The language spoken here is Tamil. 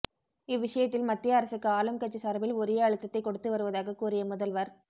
இவ்விஷயத்தில் மத்திய அரசுக்கு ஆளும் கட்சி சார்பில் உரிய அழுத்தத்தை கொடுத்து வருவதாக கூறிய முதல்வர்